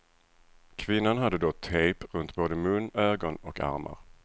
Kvinnan hade då tejp runt både mun, ögon och armar.